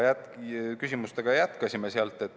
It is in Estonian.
Jätkasime küsimustega.